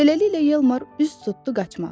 Beləliklə Yalmar üz tutdu qaçmağa.